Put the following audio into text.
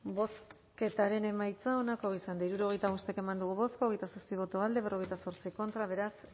bozketaren emaitza onako izan da hirurogeita bost eman dugu bozka hogeita zazpi boto alde cuarenta y ocho contra beraz